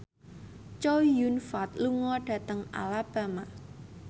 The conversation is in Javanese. Chow Yun Fat lunga dhateng Alabama